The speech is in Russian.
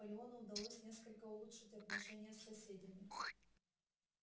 к тому времени наполеону удалось несколько улучшить отношения с соседями